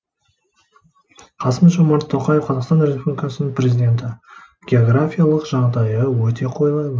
қасым жомарт тоқаев қазақстан республикасының президенті географиялық жағдайы өте қолайлы